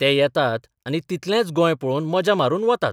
ते येतात आनी तितलेंच गोंय पळोवन मजा मारून वतात.